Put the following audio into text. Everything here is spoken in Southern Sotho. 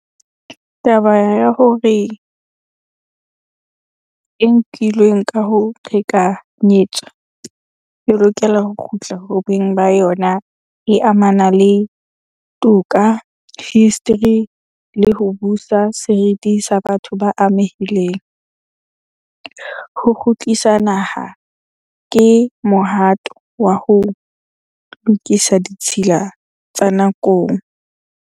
Taba ya hore e nkilweng ka ho qhekanyetswa e lokela ho kgutla ho beng ba yona. E amana le toka, history, le ho busa seriti sa batho ba amehileng. Ho kgutlisa naha ke mohato wa ho lokisa ditshila tsa nakong.